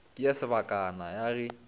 ke ya sebakana ya ge